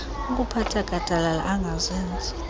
okuphatha gadalala angazenzi